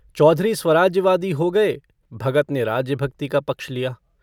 चौधरी स्वराज्यवादी हो गये भगत ने राज्यभक्ति का पक्ष लिया।